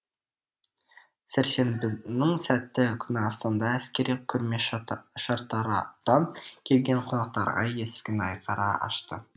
сәрсенбінің сәтті күні астанада әскери көрме шартараптан келген қонақтарға есігін айқара ашты